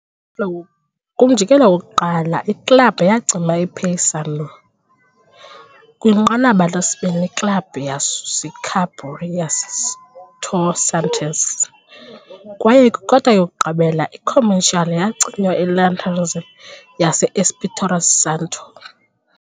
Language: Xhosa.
Kumjikelo wokuqala, iklabhu yacima Paysandu, kwinqanaba lesibini, iklabhu yasusa iKaburé yaseTocantins, kwaye kwikota yokugqibela, iComercial yacinywa Linhares yase-Espírito Santo.